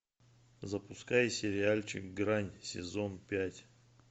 запускай сериальчик грань сезон пять